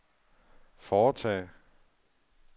foretage